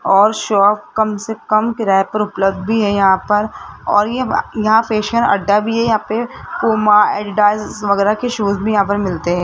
और शॉप कम से कम किराए पर उपलब्ध भी है यहां पर और ये यहां फेशियल अड्डा भी है यहां पे पूमा एडीडास वगैरा के शूज भी यहां पर मिलते हैं।